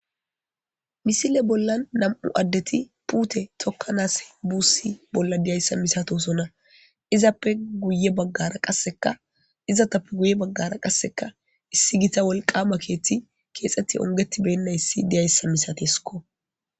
Missile bola namu adde pute tokanas busi bola diyaysa misatosona izape guyebagara qaseka izatape guyebagara qaseka issi gita woliqama keeththati kexeti ongetibenayisi diyasa misatesikko.